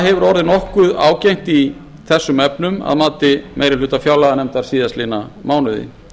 hefur orðið nokkuð ágengt í þessum efnum að mati meiri hluta fjárlaganefndar síðastliðnum mánuði